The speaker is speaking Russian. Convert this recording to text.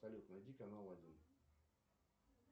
салют найди канал один